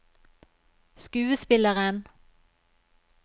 skuespilleren